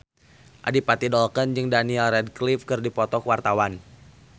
Adipati Dolken jeung Daniel Radcliffe keur dipoto ku wartawan